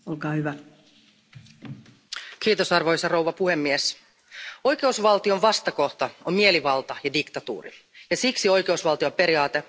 Arvoisa puhemies, oikeusvaltion vastakohta on mielivalta ja diktatuuri ja siksi oikeusvaltioperiaate on Euroopan unionin perustavanlaatuisia arvoja.